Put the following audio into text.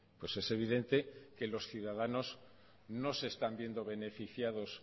pues es evidente que los ciudadanos no se están viendo beneficiados